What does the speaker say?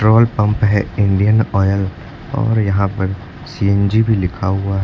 Petrol pump है Indian Oil और यहां पर सी_एन_जी भी लिखा हुआ है।